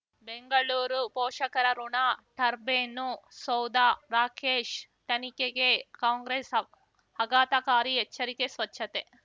ಬೆಂಗಳೂರು ಪೋಷಕರಋಣ ಟರ್ಬೈನು ಸೌಧ ರಾಕೇಶ್ ತನಿಖೆಗೆ ಕಾಂಗ್ರೆಸ್ ಆಘಾತಕಾರಿ ಎಚ್ಚರಿಕೆ ಸ್ವಚ್ಛತೆ